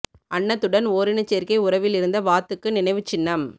அன்னத்துடன் ஓரினச் சேர்க்கை உறவில் இருந்த வாத்துக்கு நினைவுச் சின்னம்